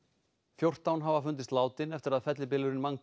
fjórtán hafa fundist látin eftir að fellibylurinn